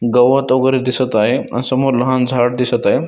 गवत वगैरे दिसत आहे अन समोर लहान झाड दिसत आहे.